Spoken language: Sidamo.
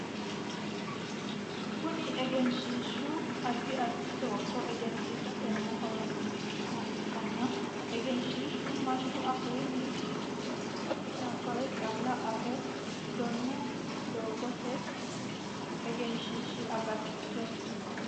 Kunni egenshiishu addi addi looso egensiisate horoonsi'nanniha ikanna egenshiishu manna afuunni kulikinni nabawe calla afi doono doogooti. Kunni egenshiishi agatto egensiisanoho.